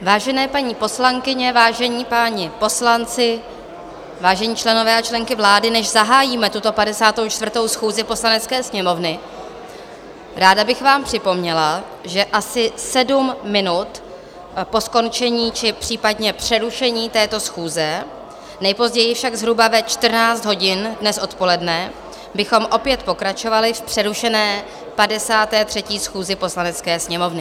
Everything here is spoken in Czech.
Vážené paní poslankyně, vážení páni poslanci, vážení členové a členky vlády, než zahájíme tuto 54. schůzi Poslanecké sněmovny, ráda bych vám připomněla, že asi sedm minut po skončení či případně přerušení této schůze, nejpozději však zhruba ve 14 hodin dnes odpoledne, bychom opět pokračovali v přerušené 53. schůzi Poslanecké sněmovny.